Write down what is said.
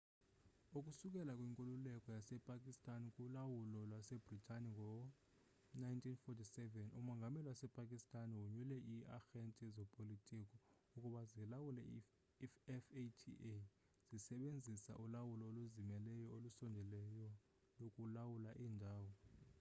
ukusukela kwinkululeko yasepakistan kulawulo lwasebritane ngo-1947 umongameli wasepakistan wonyule ii-arhente zopolitiko ukuba zilawule i-fata zisebenzisa ulawulo oluzimeleyo olusondeleyo lokulawula iindawo